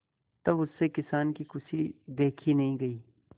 तब उससे किसान की खुशी देखी नहीं गई